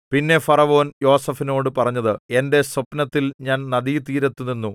പിന്നെ ഫറവോൻ യോസേഫിനോടു പറഞ്ഞത് എന്റെ സ്വപ്നത്തിൽ ഞാൻ നദീതീരത്തു നിന്നു